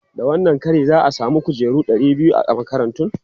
Da wannan kari, za a samu kujeru ɗari biyu a makarantun.